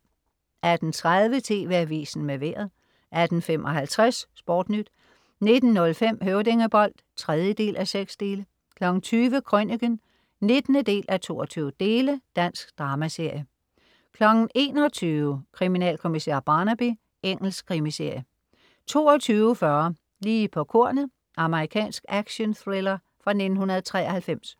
18.30 TV Avisen med Vejret 18.55 SportNyt 19.05 Høvdingebold 3:6 20.00 Krøniken 19:22. Dansk dramaserie 21.00 Kriminalkommissær Barnaby. Engelsk krimiserie 22.40 Lige på kornet. Amerikansk actionthriller fra 1993